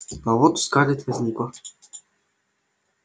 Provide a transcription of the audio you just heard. а вот у скарлетт возникло